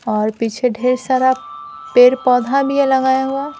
और पीछे ढेर सारा पेड़ पौधा भी ये लगाया हुआ है।